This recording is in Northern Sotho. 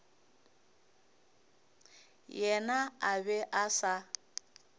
yena a be a sa